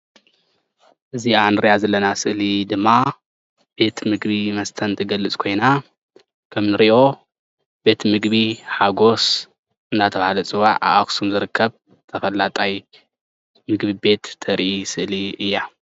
እዚ እንሪኣ ዘለና ስእሊ ድማ ቤት ምግብን መስተን እትገልፅ ኮይና ከም እንሪኦ ቤት ምግቢ ሓጎስ እንዳተባሃለ ዝፅዋዕ ኣብ ኣክሱም ዝርከብ ተፈላጣይ ምግቢ ቤት እተርኢ ስእሊ እያ፡፡